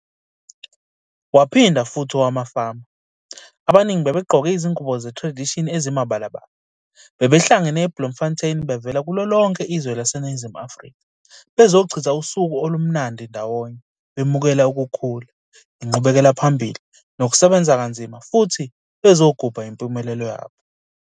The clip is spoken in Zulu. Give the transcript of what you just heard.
Waphinda futhi owamafama, abaningi bebegqoke izingubo ze-tradition ezimibalabala, bebehlangene eBloemfontein bevele kulo lonke izwe laseNingizimu Afrika bezochitha usuku olumnandi ndawonye bemukela ukukhula, inqubekelaphambili nokusebenza kanzima futhi bezogubha impumelelo yabo.